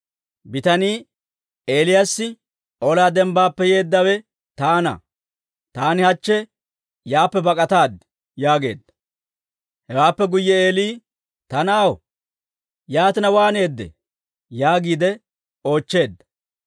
Bitanii Eelew, «Olaa dembbaappe yeeddawe taana; taani hachche yaappe bak'ataad» yaageedda. Hewaappe guyye Eeli, «Ta na'aw, yaatina waaneedee?» yaagiide oochcheedda.